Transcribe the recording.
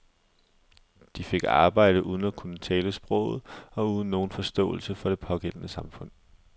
De fik arbejde uden at kunne tale sproget og uden nogen forståelse for det pågældende samfund.